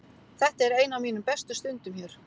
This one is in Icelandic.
Þetta er ein af mínum bestu stundum hér.